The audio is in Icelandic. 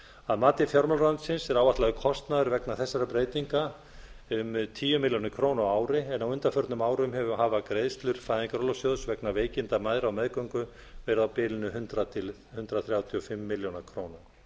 að mati fjármálaráðuneytisins er áætlaður kostnaður vegna þessara breytinga um tíu milli krónur á ári en á undanförnum árum hafa greiðslur fæðingarorlofssjóðs vegna veikinda mæðra á meðgöngu verið á bilinu hundrað til hundrað þrjátíu og fimm milljónir króna